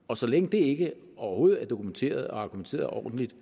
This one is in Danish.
og så længe det ikke overhovedet er dokumenteret er argumenteret ordentligt